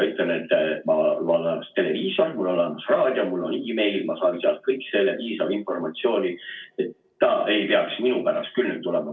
Ütlen, et mul on olemas televiisor, mul on olemas raadio, mul on meil, ma saan sealt kõik selle piisava informatsiooni, nii et ta ei pea minu pärast küll tulema.